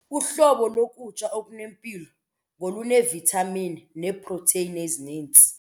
Uhlobo lokutya okunempilo ngoluneevithamini neeprotheyini ezininzi.